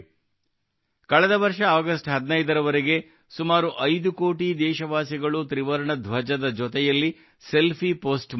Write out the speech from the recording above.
ಕಳೆದ ವರ್ಷ ಆಗಸ್ಟ್ 15 ರವರೆಗೆ ಸುಮಾರು 5 ಕೋಟಿ ದೇಶವಾಸಿಗಳು ತ್ರಿವರ್ಣ ಧ್ವಜದ ಜೊತೆಯಲ್ಲಿ ಸೆಲ್ಫಿ ಪೋಸ್ಟ್ ಮಾಡಿದ್ದರು